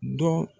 Dɔn